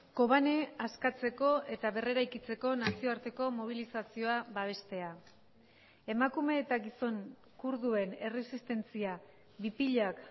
kobane askatzeko eta berreraikitzeko nazioarteko mobilizazioa babestea emakume eta gizon kurduen erresistentzia bipilak